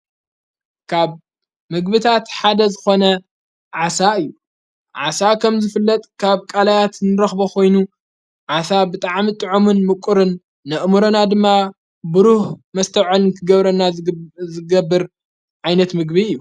ካብ ምግብታት ሓደ ዝኾነ ዓሳ እዩ ዓሣ ኸም ዝፍለጥ ካብ ቃላያት ንረኽቦኾይኑ ዓሳ ብጥዓሚ ጥዖምን ምቁርን ንእሙሮና ድማ ብሩህ መስተዖን ክገብረና ዘገብር ዓይነት ምግቢ እዩ።